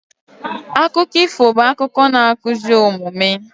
Akụkọ ifo bụ akụkọ na-akụzi omume